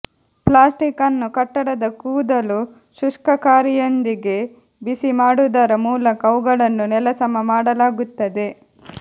plastic ಅನ್ನು ಕಟ್ಟಡದ ಕೂದಲು ಶುಷ್ಕಕಾರಿಯೊಂದಿಗೆ ಬಿಸಿಮಾಡುವುದರ ಮೂಲಕ ಅವುಗಳನ್ನು ನೆಲಸಮ ಮಾಡಲಾಗುತ್ತದೆ